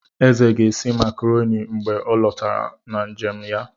Eze ga-esi makarọni mgbe ọ lọtara na njem ya.